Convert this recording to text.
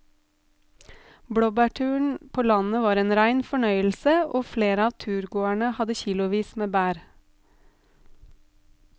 Blåbærturen ute på landet var en rein fornøyelse og flere av turgåerene hadde kilosvis med bær.